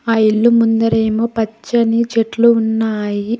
ఆ ఇల్లు ముందరేమో పచ్చని చెట్లు ఉన్నాయి.